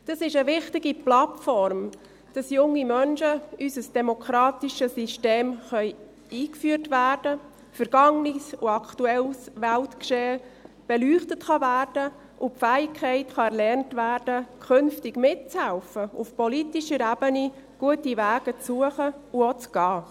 Dies ist eine wichtige Plattform, damit junge Menschen in unser demokratisches System eingeführt werden können, vergangenes und aktuelles Weltgeschehen beleuchtet werden kann und die Fähigkeit erlernt werden kann, künftig mitzuhelfen, auf politischer Ebene gute Wege zu suchen und auch zu beschreiten.